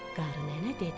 Qarı nənə dedi: